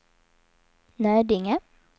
Nödinge